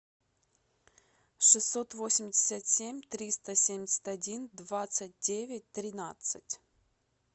шестьсот восемьдесят семь триста семьдесят один двадцать девять тринадцать